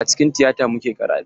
Acikin tiyata muka yi karatu.